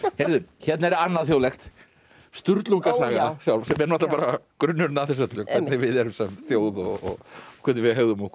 hérna er annað þjóðlegt sjálf sem er bara grunnurinn að þessu öllu hvernig við erum sem þjóð og hvernig við hegðum okkur